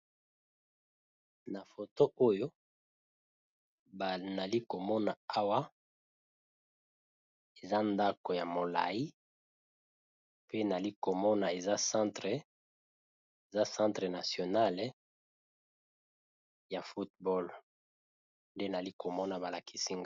Na foto oyo ba nalikomona awa eza ndako ya molai pe nalikomona eza centre nationale ya football nde nalikomona balakisi NGA.